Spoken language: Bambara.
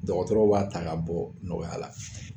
Dɔgɔtɔrɔw b'a ta ka bɔ nɔgɔya la.